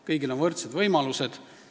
Kõigil on võrdsed võimalused.